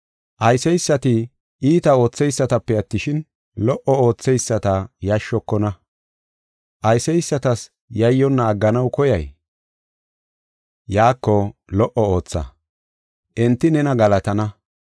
Ayseysati iita ootheysatape attishin, lo77o ootheyisata yashshokona. Ayseysatas yayyonna agganaw koyay? Yaako lo77o ootha; enti nena galatana.